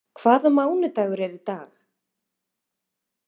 Lily, hvaða mánaðardagur er í dag?